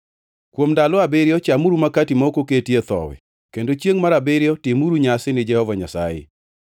Kuom ndalo abiriyo chamuru Makati ma ok oketie thowi kendo chiengʼ mar abiriyo timuru nyasi ni Jehova Nyasaye.